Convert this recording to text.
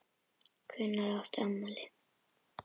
Hvenær átt þú afmæli?